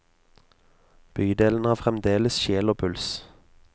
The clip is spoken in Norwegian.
Bydelen har fremdeles sjel og puls.